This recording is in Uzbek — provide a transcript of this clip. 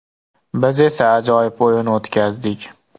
Biz esa ajoyib o‘yin o‘tkazdik.